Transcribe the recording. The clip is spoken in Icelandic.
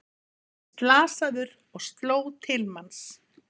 Sagðist slasaður og sló til manns